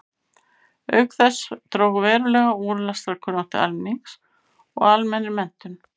Auk þess dró verulega úr lestrarkunnáttu almennings og almennri menntun.